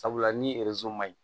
Sabula ni ma ɲi